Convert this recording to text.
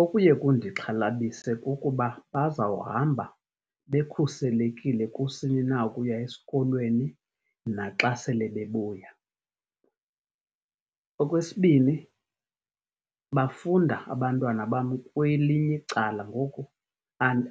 Okuye kundixhalabise kukuba bazawuhamba bekhuselekile kusini na ukuya esikolweni naxa sele bebuya. Okwesibini, bafunda abantwana bam kwelinye icala, ngoku